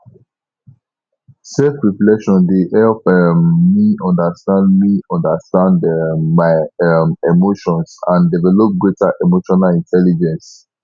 selfreflection dey help um me understand me understand um my um emotions and develp greater emotional intelligence